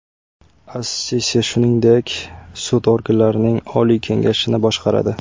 As-Sisi shuningdek sud organlarining Oliy kengashini boshqaradi.